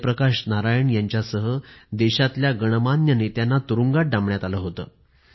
जयप्रकाश नारायण यांच्यासह देशातल्या गणमान्य नेत्यांना तुरुंगात डांबण्यात आलं होत